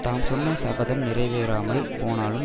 தாம் சொன்ன சபதம் நிறைவேறாமல் போனாலும்